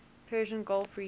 persian gulf region